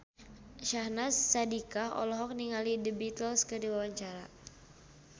Syahnaz Sadiqah olohok ningali The Beatles keur diwawancara